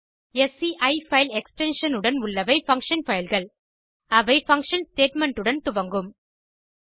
sci file extension உடன் உள்ளவை function fileகள் அவை பங்ஷன் statementஉடன் துவங்கும்